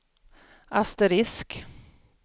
asterisk